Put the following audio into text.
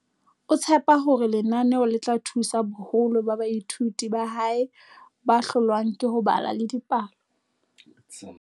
O tshepa hore lenaneo le tla thusa boholo ba baithuti ba hae ba hlo lwang ke ho bala le dipalo.